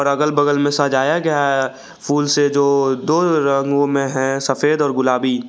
अगल बगल में सजाया गया है फूल से जो दो रंगों में है सफेद और गुलाबी।